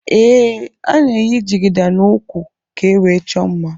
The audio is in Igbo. Ee ana eyi jigida na úkwú ka ewee chọọ mmá.